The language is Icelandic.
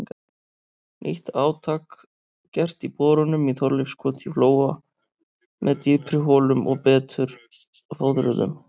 Nýtt átak gert í borunum í Þorleifskoti í Flóa með dýpri holum og betur fóðruðum.